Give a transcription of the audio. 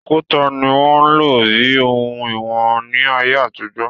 Òkúta ni wọ́n ń lò bíi òhun ìwọ̀n ní ayé àtijọ́